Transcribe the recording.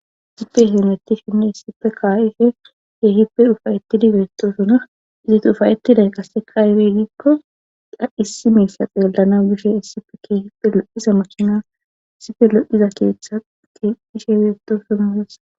issipe heenetti shinni issippe ka7ife heehippe ufayettidi geettosuna izet ufayettiday qasse kayweedikko da issi meyssaxe yollana bishe issife kehipe lo7iza mocina isife lo7iza keeththa ti dishe weettosuna wessa.